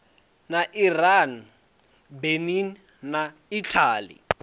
na iran benin na italy